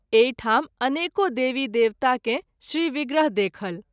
एहि ठाम अनेको देवी देवता के श्री विग्रह देखल।